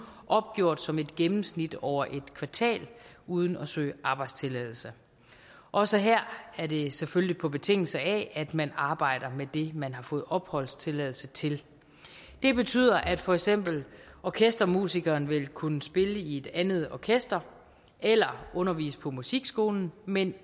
opgjort som et gennemsnit over en kvartal uden at søge arbejdstilladelse også her er det selvfølgelig på betingelse af at man arbejder med det man har fået opholdstilladelse til det betyder at for eksempel orkestermusikeren vil kunne spille i et andet orkester eller undervise på musikskolen men